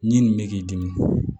Ɲi nin bɛ k'i dimi